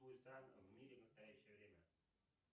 в мире в настоящее время